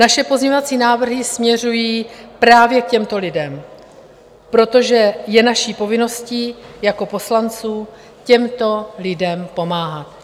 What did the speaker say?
Naše pozměňovací návrhy směřují právě k těmto lidem, protože je naší povinností jako poslanců těmto lidem pomáhat.